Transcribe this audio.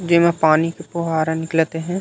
जेमा पानी के फ़ोहारा निकलत हे।